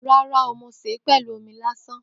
Ràrá o, mo sẹ pẹlú òmí làsán.